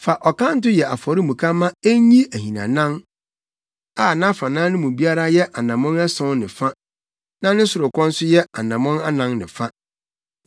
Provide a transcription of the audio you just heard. “Fa ɔkanto yɛ afɔremuka ma enyi ahinanan a nʼafanan no mu biara yɛ anammɔn ason ne fa na ne sorokɔ nso yɛ anammɔn anan ne fa.